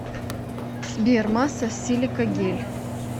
сбер масса силикагель